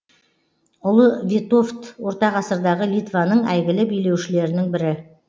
ұлы витовт ортағасырдағы литваның әйгілі билеушілерінің бірі